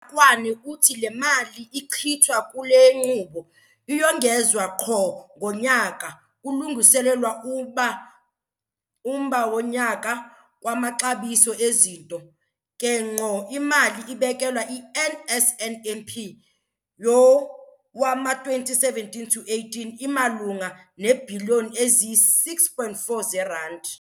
kwani uthi le mali ichithwa kule nkqubo iyongezwa rhoqo ngonyaka kulungiselelwa umba wonyaka kwamaxabiso ezinto, ke ngqo imali ebekelwe i-NSNP yowama-2017 to 18 imalunga neebhiliyoni eziyi-6.4 zeerandi.